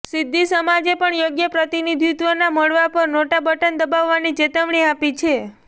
સિંધી સમાજે પણ યોગ્ય પ્રતિનિધિત્વ ના મળવા પર નોટા બટન દબાવવાની ચેતવણી આપી છે